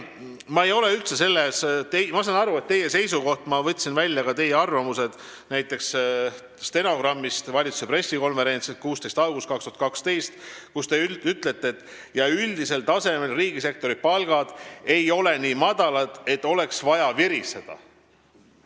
Edasi, ma võtsin välja ka teie arvamused valitsuse pressikonverentsi 16. augusti 2012. aasta stenogrammist, kus te ütlesite, et üldisel tasemel ei ole riigisektori palgad nii madalad, et oleks vaja viriseda.